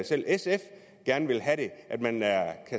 selv sf gerne vil have det at man